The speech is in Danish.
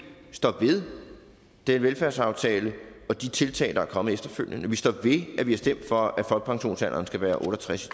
står ved den velfærdsaftale og de tiltag der er kommet efterfølgende vi står ved at vi har stemt for at folkepensionsalderen skal være otte og tres